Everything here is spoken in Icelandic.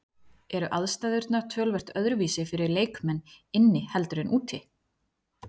Eru aðstæðurnar töluvert öðruvísi fyrir leikmenn inni heldur en úti?